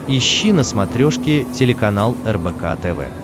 ищи на смотрешке телеканал рбк тв